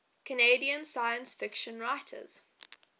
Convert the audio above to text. canadian science fiction writers